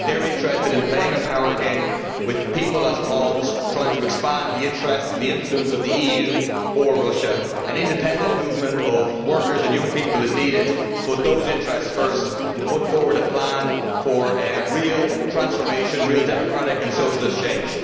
They are interested in playing a power game with the people as pawns, trying to expand the interests and the influence of the EU or Russia. An independent movement of workers and young people is needed to put those interests first and to put forward a plan for a real transformation, real democratic and socialist change.